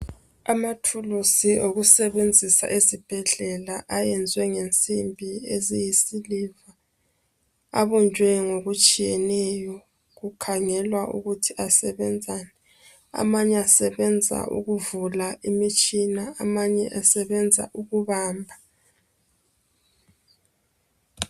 Amathuluzi okusebenzisa esibhedlela ayenziwe ngensimbi eziyisiliva. Abunjwe ngokutshiyeneyo kukhangelwa ukuthi asebenzani. Amanye asebenza ukuvula imitshina, amanye asebenza ukubamba.